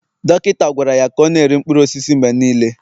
dọkịta gwara ya ka ọ na-eri mkpụrụ osisi mgbe niile